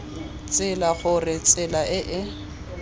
tsela gore tsela e e